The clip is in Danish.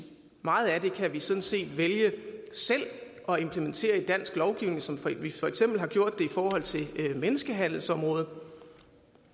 meget af det kan vi sådan set vælge selv at implementere i dansk lovgivning som vi for eksempel har gjort det på menneskehandelsområdet